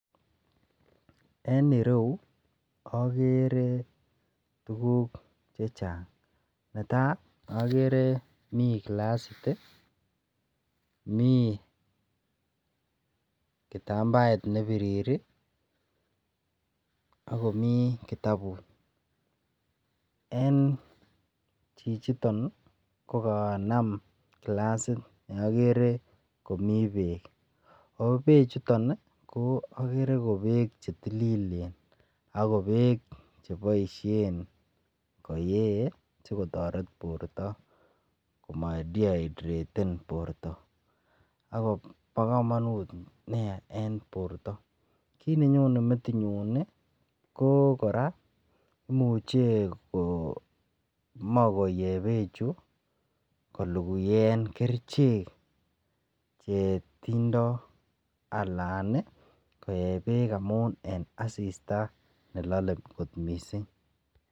En iroyuu okere tukuk chechang netai okere mii kilasit tii mii kitampaet nepiriri ak komii kitabut. En chichiton nii ko kanam kilasit neikere komii beek obechuton nii okere ko beek chetililen ako beek cheboishen koyee sikotoret borto komo deidrated ako bo komonut nia en borto. Kit nenyone metinyun nii ko Koraa imuche komoi koyee bechuu kolukuen kerichek chetindo alan nii koyee beek amun en asista nelole kot missing.